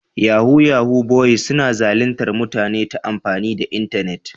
Yahu-yahu boyis suna zalintar mutane ta amfani da internet.